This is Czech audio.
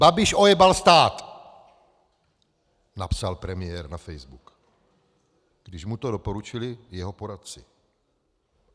Babiš ojebal stát, napsal premiér na Facebook, když mu to doporučili jeho poradci.